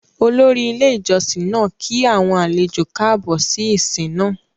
Òlòrì ilẹ̀ ìjọ̀ṣìn náà kí àwọn àlẹ̀jọ kààbọ̀ sí ìsin náà.